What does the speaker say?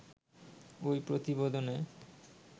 ঐ প্রতিবেদনে